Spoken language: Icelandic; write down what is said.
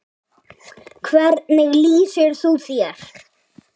Hvernig lýsir þú þér?